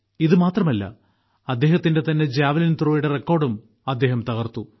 ഇത് മാത്രമല്ല അദ്ദേഹത്തിന്റെ തന്നെ ജാവലിൻത്രോയുടെ റെക്കോർഡും അദ്ദേഹം തകർത്തു